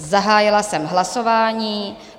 Zahájila jsem hlasování.